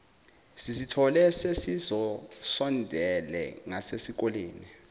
sizithole sesisondele ngasesikoleni